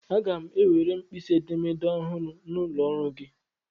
Aga m ewere mkpisi edemede ọhụrụ n'ụlọ ọrụ gị.